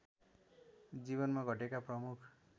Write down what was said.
जिवनमा घटेका प्रमुख